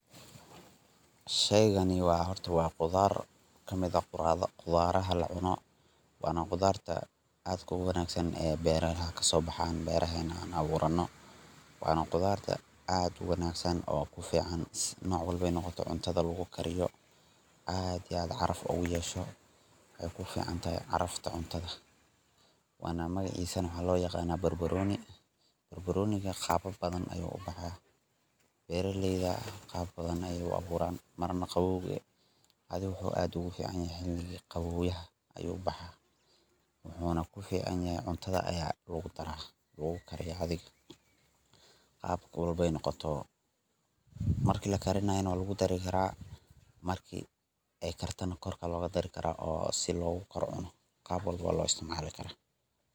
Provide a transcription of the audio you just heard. Sheygani wa qudar wana qudar kamid ah qudaraha la cuno wana qudarta aad ka u wanagsan ee beraha aan aburano wana qudarta aadka u wanagsdan (qudarta) cuntada ku karsano aad iyo aad (caraf) wexeyna ku fican tahay (carafta) cuntada o magacisna waxa lo yaqana barbaroni barbaroniga qababa badan ayu u baxa beraleyda qababa badan aye u aburan wuxu aad ogu fican yahya u ku baxa qabowha wuxuna ku fican yahay wxa lagu dara cuntada mise lagu kariya qab walbo eey noqoto marki lakiranaya wa lagu dari kara marka eey kartana korka aya loga dari kara lagu cuni kara si logu cuno qab wallbo wa lo istcimali kara